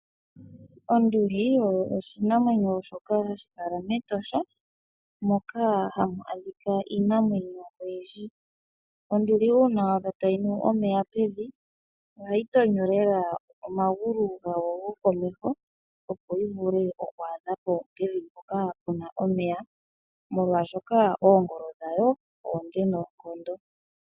Onduli oyo oshinamwenyo shoka hashi kala mEtosha moka hamu adhika iinamwenyo oyindji. Onduli uuna wa adha tayi nu omeya pevi, ohayi tonyo lela omagulu gayo gokomeho opo yi vule oku adha po pevi mpoka pu na omeya, molwasoka oongolo dhayo onde noonkondo.